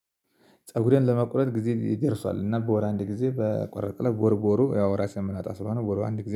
ፀጉሬን ለመቁረጥ ጊዜ ይደርሷል እና በወር አንድ ጊዜ በቆረጥነው በወር በወሩ ያው ራሴም መላጣ ስለሆነ በወሩ አንድ ጊዜ